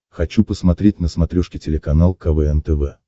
хочу посмотреть на смотрешке телеканал квн тв